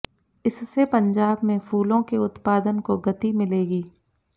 इससे पंजाब में फूलों के उत्पादन को गति मिलेगी